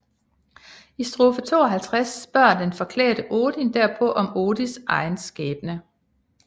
I strofe 52 spørger den forklædte Odin derpå om Odins egen skæbne